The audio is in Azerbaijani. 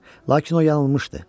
Lakin o yanılmışdı.